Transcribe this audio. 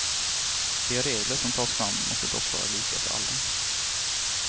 De regler som tas fram måste dock vara lika för alla.